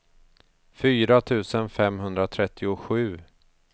fyra tusen femhundratrettiosju